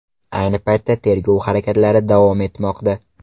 Ayni paytda tergov harakatlari davom etmoqda.